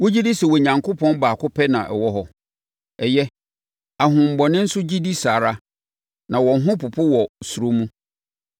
Wogye di sɛ Onyankopɔn baako pɛ na ɔwɔ hɔ? Ɛyɛ! Ahonhommɔne nso gye di saa ara na wɔn ho popo wɔ suro mu.